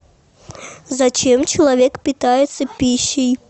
зачем человек питается пищей